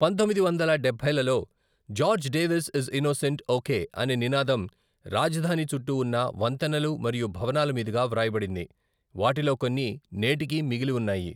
పంతొమ్మిది వందల డబ్బైలలో 'George Davis is innocent okay ' అనే నినాదం రాజధాని చుట్టూ ఉన్న వంతెనలు మరియు భవనాల మీదుగా వ్రాయబడింది, వాటిలో కొన్ని నేటికీ మిగిలి ఉన్నాయి.